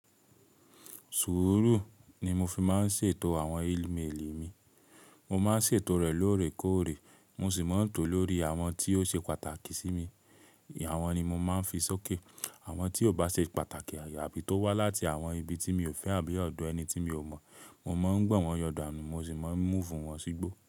Sùúrù ni mo fi máa ń ṣètò àwọn ííméèlì mi. Mo máa ń ṣètò rẹ̀ lóòrèkóòrè, mo sì máa ń tò lórí àwọn tí ó ṣe pàtàkì sí mi. Àwọn ni mo máa ń fi sókè. Àwọn tí ò bá ṣe pàtàkì àyè àbí tó wá láti àwọn ibi tí mi ò fẹ́ àbí ọ̀dọ̀ ẹni tí mi ò mọ̀, mo máa ń gbọ̀ wọ́n yọ̀dà nù mo sì máa ń mú fún wọn sígbó.